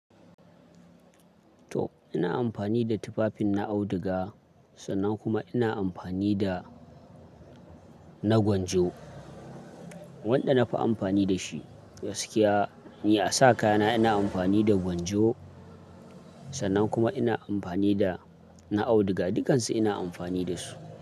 To ina amfani da tufafin na auduga sannan kuma ina amfani da na gwanjo wanda na fi amfani da shi. Gaskiya ni a sa kaya na ina amfani da gwanjo sannan kuma ina amfani da na auduga dukansu ina amfani da su.